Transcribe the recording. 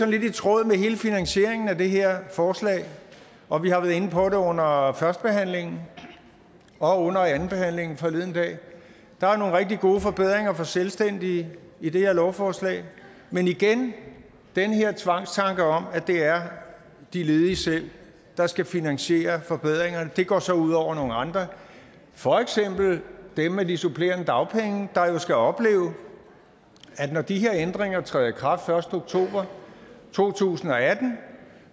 lidt i tråd med hele finansieringen af det her forslag og vi har været inde på det under førstebehandlingen og under andenbehandlingen forleden dag at der er nogle rigtig gode forbedringer for selvstændige i det her lovforslag men igen den her tvangstanke om at det er de ledige selv der skal finansiere forbedringerne går så ud over nogle andre for eksempel dem med de supplerende dagpenge der jo skal opleve at når de her ændringer træder i kraft den første oktober to tusind og atten